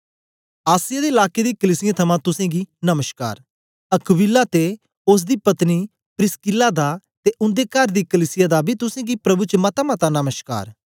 आसिया दे लाके दी कलीसियें थमां तुसेंगी नमश्कार अक्विला ते ओसदी पत्नी प्रिसकिल्ला दा ते उन्दे कर दी कलीसिया दा बी तुसेंगी प्रभु च मतामता नमश्कार